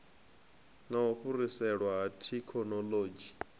na u fhiriselwa ha thekhinolodzhi